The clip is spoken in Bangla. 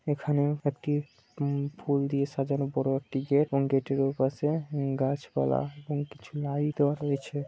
এখানে একটি উম ফুল দিয়ে সাজানো বড়ো একটি গেট এবং গেটের ওপাশে উম গাছপালা এবং কিছু লাইট দেওয়া রয়েছে।